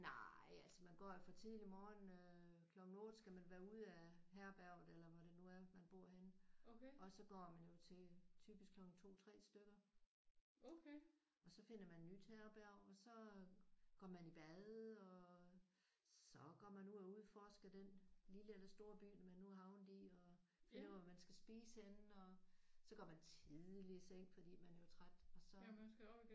Nej altså man går jo fra tidlig morgen. Øh klokken 8 skal man være ude af herberget eller hvor det nu er man bor henne og så går man jo til typisk klokken 2 3 stykker og så finder man et nyt herberg og så går man i bad og så går man ud og udforsker den lille eller store by man nu er havnet i og finder ud af hvor man skal spise henne. Og så går man tidligt i seng fordi man jo er træt og så